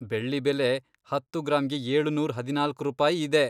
ಬೆಳ್ಳಿ ಬೆಲೆ ಹತ್ತು ಗ್ರಾಮ್ಗೆ ಏಳುನೂರ್ ಹದಿನಾಲಕ್ಕು ರೂಪಾಯಿ ಇದೆ.